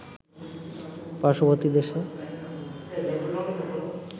পার্শ্ববর্তী দেশে